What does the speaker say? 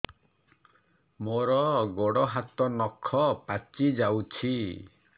ମୋର ଗୋଡ଼ ହାତ ନଖ ପାଚି ଯାଉଛି